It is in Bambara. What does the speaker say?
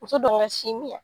Muso ka sin min yan